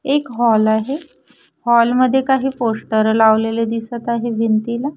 एक हॉल आहे हॉल मध्ये काही पोस्टर लावलेले दिसत आहेत भिंतीला --